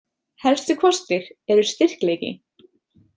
Helstu kostir eru styrkleiki.